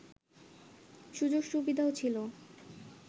সুযোগ সুবিধাও ছিল